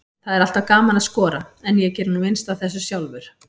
Það er alltaf gaman að skora, en ég geri nú minnst af þessu sjálfur.